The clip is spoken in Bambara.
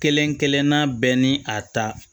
Kelen kelenna bɛɛ ni a ta